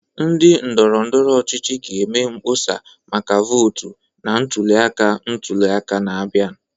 Ndị ndọrọndọrọ ọchịchị ga-eme mkpọsa maka votu na ntuli aka ntuli aka na-abịa.